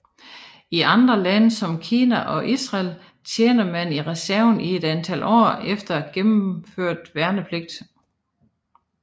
I andre lande som Kina og Israel tjener man i reserven i et antal år efter gennemført værnepligt